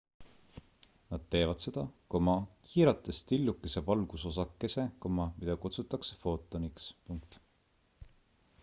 nad teevad seda kiirates tillukese valgusosakese mida kutsutakse footoniks